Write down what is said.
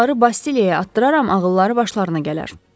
Onları Bastiliyaya atdıraram, ağılları başlarına gələr.